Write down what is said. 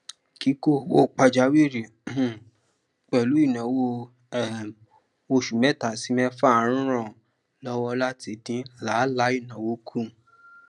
kíkó owó pajawìrì um pẹlú ináwó um oṣù mẹta sí mẹfà ń ràn lọwọ láti dín làálàá ináwó kù